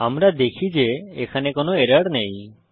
আমরা দেখি যে এখানে কোনো এরর নেই